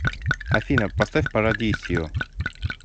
афина поставь парадисио